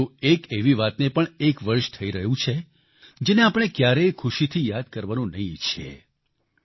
પરંતુ એક એવી વાતને પણ એક વર્ષ થઈ રહ્યું છે જેને આપણે ક્યારેય ખુશીથી યાદ કરવાનું નહીં ઈચ્છીએ